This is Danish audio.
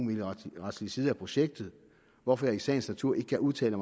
retslige side af projektet hvorfor han i sagens natur ikke kan udtale